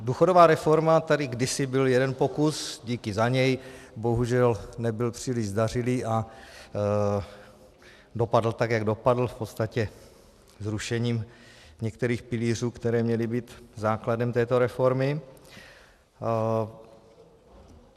Důchodová reforma - tady kdysi byl jeden pokus, díky za něj, bohužel nebyl příliš zdařilý a dopadl tak, jak dopadl, v podstatě zrušením některých pilířů, které měly být základem této reformy.